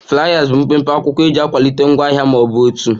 Fliers bụ otu mpempe akwụkwọ eji akwalite ngwaahịa ma ọ bụ òtù